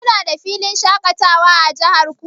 Kuna da filin shaƙatawa a jihar ku?